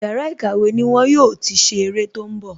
Yàrá ìkàwé ni wọn yóò ti ṣe ère tó ń bọ̀